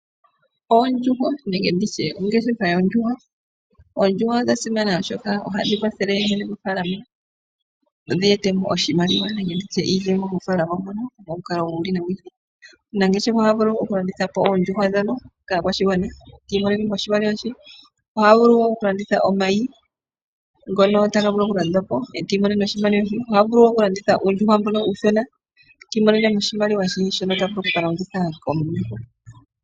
Oondjuhwa nenge ongeshefa yoondjuhwa Oondjuhwa odha simana, oshoka ohadhi kwathele mofaalama dhi e te mo iimaliwa momikalo dhi ili nodhi ili. Omunangeshefa oha vulu okulanditha po oondjuhwa kaakwashigwana e ta imonene mo oshimaliwa. Oha vulu okulanditha omayi ngono taga vulu okulandwa po e ta imonene oshimaliwa she. Oha vulu okulanditha uuyuhwena e ta imonene mo oshimaliwa she shono ta vulu oku ka longitha.